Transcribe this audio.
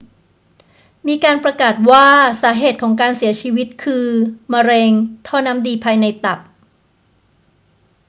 มีการประกาศว่าสาเหตุของการเสียชีวิตคือมะเร็งท่อน้ำดีภายในตับ